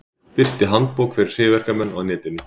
Birti handbók fyrir hryðjuverkamenn á netinu